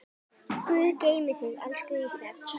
Guð geymi þig, elsku Ísak.